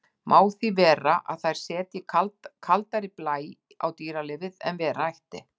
Má því vera að þær setji kaldari blæ á dýralífið en vera ætti.